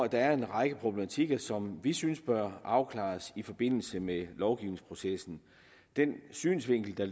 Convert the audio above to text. der er en række problematikker som vi synes bør afklares i forbindelse med lovgivningsprocessen den synsvinkel der